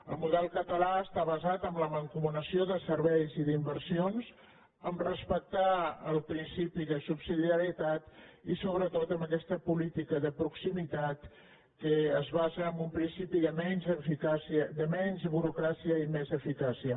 el model català està basat en la mancomunació de serveis i d’inversions en respectar el principi de subsidiarietat i sobretot en aquesta política de proximitat que es basa en un principi de menys burocràcia i més eficàcia